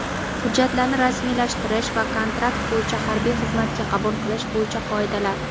hujjatlarini rasmiylashtirish va kontrakt bo‘yicha harbiy xizmatga qabul qilish bo‘yicha qoidalar.